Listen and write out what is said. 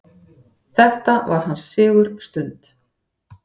Þetta var hans sigurstund.